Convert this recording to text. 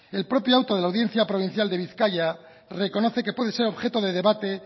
el propio auto de la audiencia provincial de bizkaia reconoce que puede ser objeto de debate